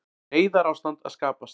Neyðarástand að skapast